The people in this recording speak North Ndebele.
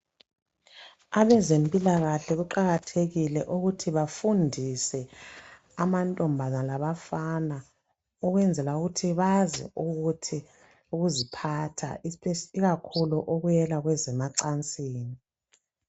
Abezempilakahle kuqakathekile ukuthi bafundise amankazana labafana ukwenzela ukuthi bazi ukuziphatha ikakhulu okuyela ezemacansini.